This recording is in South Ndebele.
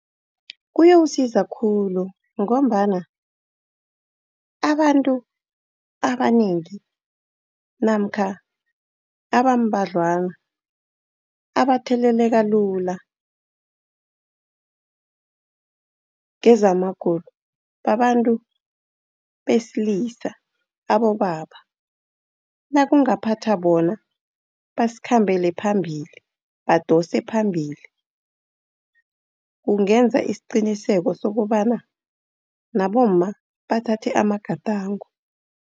Kuyawusiza khulu, ngombana abantu abanengi namkha abambadlwana abatheleleka kezamagulo, babantu besilisa, abobaba. Nakungaphatha bona, besikhambele phambili, badose phambili, kungenza isiqiniseko sokobana nabomma bathathe amagadango.